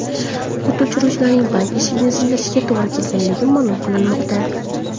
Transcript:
O‘t o‘chiruvchilarning bank eshigini sindirishiga to‘g‘ri kelganligi ma’lum qilinmoqda.